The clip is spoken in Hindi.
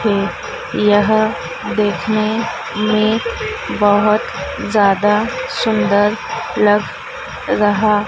है यह देखने में बहोत ज्यादा सुंदर लग रहा--